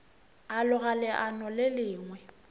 a loga leano le lengwe